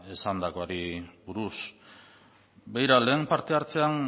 esandakoari buruz begira lehen parte hartzean